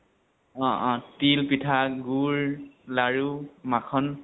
অ অ তিল, পিঠা, গুৰ, লাৰু, মাখন